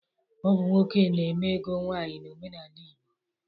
Ọ bụ nwoke na-eme ego nwaanyị n'omenala Igbo.